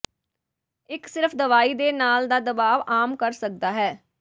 ਇਕ ਸਿਰਫ ਦਵਾਈ ਦੇ ਨਾਲ ਦਾ ਦਬਾਅ ਆਮ ਕਰ ਸਕਦਾ ਹੈ